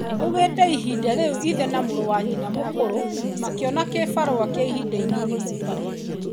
Akiuga ihinda rĩu ithe na mũrũ wa nyina mũkũrũ makĩona gĩbarũa gĩa ihinda inini Mombasa.